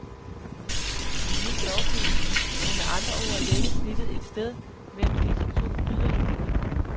En ny lovgivning må med andre ord lægge snittet et sted mellem disse to yderligheder.